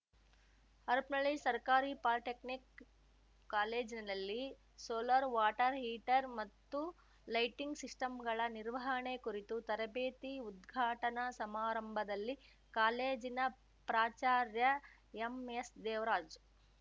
ಹರಪನಳ್ಳಿ ಸರ್ಕಾರಿ ಪಾಲಿಟೆಕ್ನಿಕ್‌ ಕಾಲೇಜಿನಲ್ಲಿ solar water heater ಮತ್ತು ಲೈಟಿಂಗ್‌ ಸಿಸ್ಟಂಗಳ ನಿರ್ವಹಣೆ ಕುರಿತು ತರಬೇತಿ ಉದ್ಘಾಟನಾ ಸಮಾರಂಭದಲ್ಲಿ ಕಾಲೇಜಿನ ಪ್ರಾಚಾರ್ಯ ಎಂಎಸ್‌ದೇವರಾಜ್